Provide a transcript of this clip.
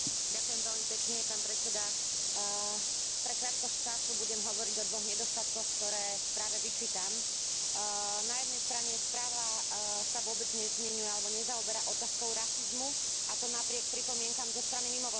Pre krátkosť času budem hovoriť o dvoch nedostatkoch, ktoré správe vyčítam. Na jednej strane, správa sa vôbec nezmieňuje alebo nezaoberá otázkou rasizmu, a to napriek pripomienkam zo strany mimovládnych organizácií.